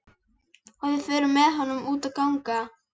Og við förum með honum út að ganga.